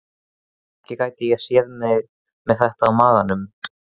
Ekki gæti ég séð mig með þetta á maganum.